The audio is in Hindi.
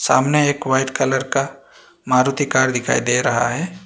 सामने एक व्हाइट कलर का मारुति कार दिखाई दे रहा है।